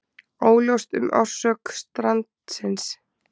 Óljóst um orsök strandsins